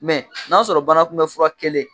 Mɛ n''a sɔrɔ banakunbɛ fura kelen